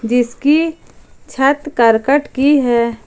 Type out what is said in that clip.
जिसकी छत करकट की है।